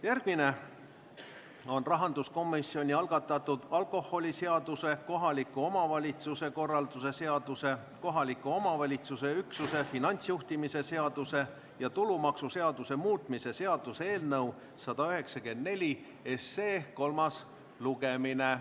Järgmine on rahanduskomisjoni algatatud alkoholiseaduse, kohaliku omavalitsuse korralduse seaduse, kohaliku omavalitsuse üksuse finantsjuhtimise seaduse ja tulumaksuseaduse muutmise seaduse eelnõu 194 kolmas lugemine.